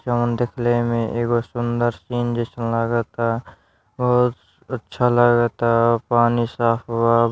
जवन देखले में एगो सूंदर सीने जइसन लगता और अच्छा लगता पानी साफ़ बा |